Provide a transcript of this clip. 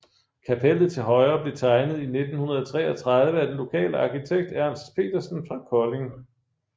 Kapellet til højre blev tegnet i 1933 af den lokale arkitekt Ernst Petersen fra Kolding